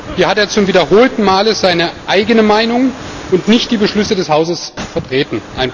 Hier hat er zum wiederholten Male seine eigene Meinung und nicht die Beschlüsse des Hauses vertreten.